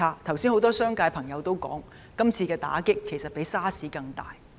剛才有多位商界朋友也指出，今次的打擊比 SARS 更大。